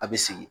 A bɛ sigi